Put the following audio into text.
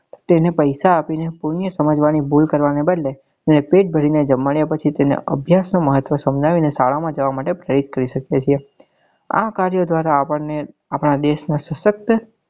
તેને પૈસા આપી ને પુણ્ય સમજવા ની ભૂલ કરવા નાં બદલે એને પેટ ભરી ને જમાડ્યા પછી તેને અભ્યાસ નું મહત્વ સમજાવી ને શાળા માં જવા માટે પ્રેરિત કરી શકીએ છીએ